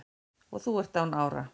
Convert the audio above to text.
og þú ert án ára